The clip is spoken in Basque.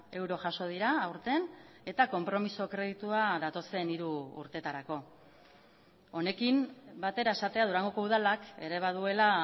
euro jaso dira aurten eta konpromiso kreditua datozen hiru urtetarako honekin batera esatea durangoko udalak ere baduela